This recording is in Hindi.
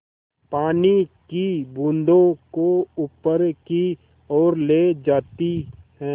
पानी की बूँदों को ऊपर की ओर ले जाती है